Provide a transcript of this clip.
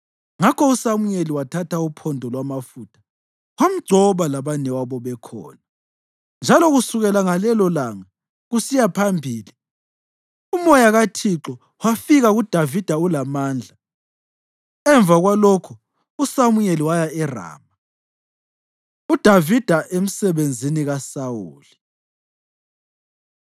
Ngakho uSamuyeli wathatha uphondo lwamafutha wamgcoba labanewabo bekhona; njalo kusukela ngalelolanga kusiya phambili, uMoya kaThixo wafika kuDavida ulamandla. Emva kwalokho uSamuyeli waya eRama. UDavida Emsebenzini KaSawuli